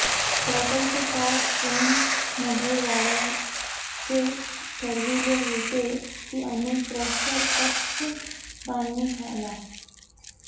प्रकल्प short term मध्ये वाढवायचे ठरविले होते की अनेक प्रेक्षकांनी आला